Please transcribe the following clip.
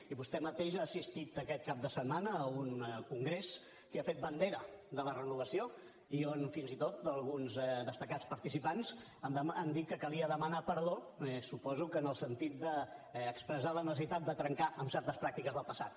i vostè mateix ha assistit aquest cap de setmana a un congrés que ha fet bandera de la renovació i on fins i tot alguns destacats participants han dit que calia demanar perdó suposo que en el sentit d’expressar la necessitat de trencar amb certes pràctiques del passat